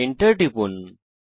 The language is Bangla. Enter টিপুন